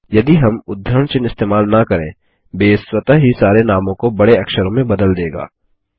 यदि हम उद्धरण चिह्न इस्तेमाल न करें बेस स्वतः ही सारे नामों को बड़े अक्षरों में बदल देगा